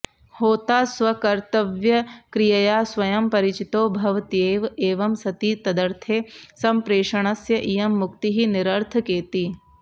होता स्वकर्त्तव्यक्रियया स्वयं परिचितो भवत्येव एवं सति तदर्थे सम्प्रेषणस्य इयं मुक्तिः निरर्थकेति